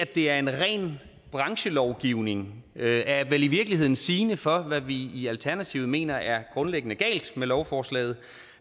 det er en ren branchelovgivning er i virkeligheden sigende for hvad vi i alternativet mener er grundlæggende galt med lovforslaget